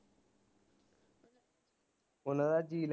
ਓਹਨਾ ਦਾ ਜੀ